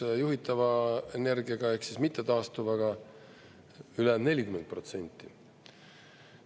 – ja juhitava energiaga ehk mittetaastuvaga ülejäänud 40%.